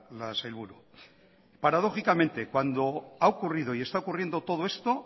la sailburu paradójicamente cuando ha ocurrido y está ocurriendo todo esto